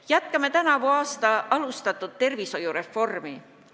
Jätkame tänavu alustatud tervishoiureformi.